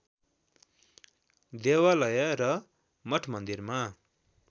देवालय र मठमन्दिरमा